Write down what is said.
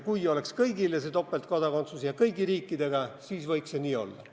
Kui topeltkodakondsus oleks mõeldud kõigile ja kehtiks kõigi riikide suhtes, siis võiks see nii olla.